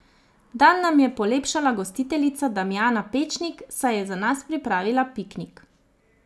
Dan nam je polepšala gostiteljica Damjana Pečnik, saj je za nas pripravila piknik.